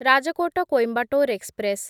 Rajkot Coimbatore express